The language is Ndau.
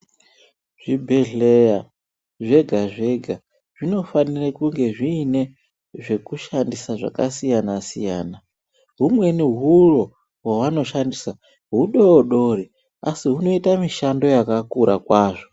Zvibhedhleya zvega zvega zvinofanire kunge zviine zvekushandisa zvakasiyana siyana humweni huro hwavanoshandisa hudodori asi hunoite mishando yakakura kwazvo.